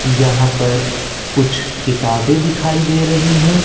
यहां पर कुछ किताबें दिखाई दे रही है।